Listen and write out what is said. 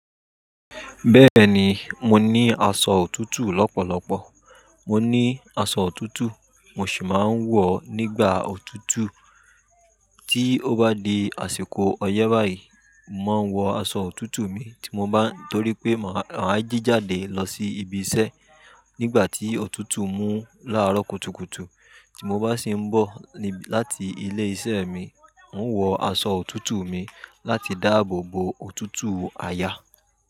Bẹ́ẹ̀ ni, mo ní aṣọ òtútù lọ́pọ̀lọpọ̀. Mo ní aṣọ òtútù mo sì máa ń wọ̀ ọ́ nígbà òtútù. Tí ó bá di àsìkò ọyẹ́ báyìí, màá wọ aṣọ òtútù mi tí mo bá ń torí pé màá jí jáde lọ sí ibi iṣẹ́ nígbà tí òtútù mú láàárọ̀ kùtùkùtù. Tí mo bá sì ń bọ̀ láti ilé iṣẹ́ mi, n wọ aṣọ òtútù mi láti dáàbò bo òtútù àyà.